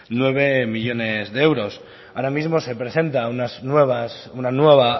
nueve millónes de euros ahora mismo se presenta una nueva